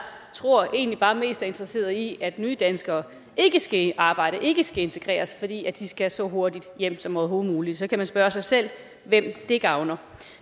tror egentlig bare mest er interesseret i at nydanskere ikke skal i arbejde ikke skal integreres fordi de skal så hurtigt hjem som overhovedet muligt så kan man spørge sig selv hvem det gavner